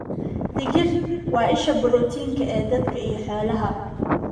Digir: Waa isha borotiinka ee dadka iyo xoolaha.